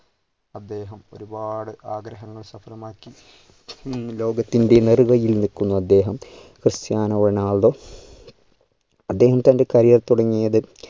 അദ്ദേഹം ഒരുപാട് ആഗ്രഹങ്ങൾ സഫലമാക്കി ഈ ലോകത്തിൻ്റെ നേറുകയിൽ നിൽക്കുന്ന അദ്ദേഹം ക്രിസ്റ്റ്യാനോ റൊണാൾഡോ അദ്ദേഹം തൻ്റെ career തുടങ്ങിയത്